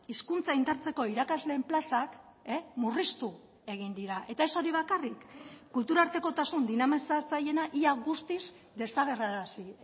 hizkuntza indartzeko irakasleen plazak murriztu egin dira eta ez hori bakarrik kulturartekotasun dinamizatzaileena ia guztiz desagerrarazi